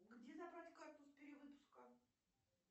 где забрать карту с перевыпуска